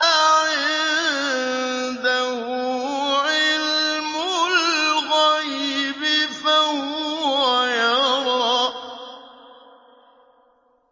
أَعِندَهُ عِلْمُ الْغَيْبِ فَهُوَ يَرَىٰ